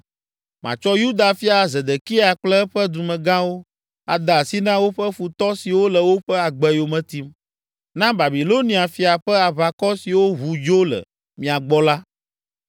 “Matsɔ Yuda fia Zedekia kple eƒe dumegãwo ade asi na woƒe futɔ siwo le woƒe agbe yome tim, na Babilonia fia ƒe aʋakɔ siwo ʋu dzo le mia gbɔ la.